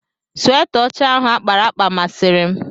Sweta ọcha ahụ akpara akpa masịrị m.